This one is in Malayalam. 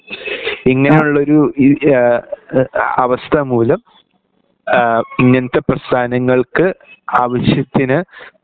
ഇങ്ങനെയുള്ളൊരു ഇ ഏഹ് അവസ്ഥ മൂലം ഏഹ് ഇങ്ങനത്തെ പ്രസ്ഥാനങ്ങൾക് ആവിശ്യത്തിന്